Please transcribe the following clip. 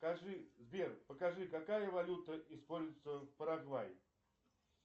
скажи сбер покажи какая валюта используется в парагвае